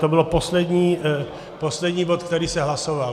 To byl poslední bod, který se hlasoval.